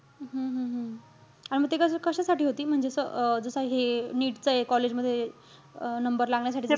हम्म हम्म हम्म आणि म ते कशा~ कशासाठी होती? म्हणजे असं अं जसं हे NEET च हे college मध्ये अह number लागण्यासाठी.